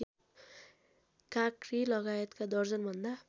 काँक्री लगायतका दर्जनभन्दा